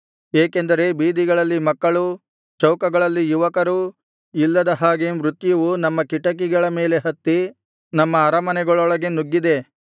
ಏಕೆಂದರೆ ಬೀದಿಗಳಲ್ಲಿ ಮಕ್ಕಳೂ ಚೌಕಗಳಲ್ಲಿ ಯುವಕರೂ ಇಲ್ಲದ ಹಾಗೆ ಮೃತ್ಯುವು ನಮ್ಮ ಕಿಟಕಿಗಳ ಮೇಲೆ ಹತ್ತಿ ನಮ್ಮ ಅರಮನೆಗಳೊಳಗೆ ನುಗ್ಗಿದೆ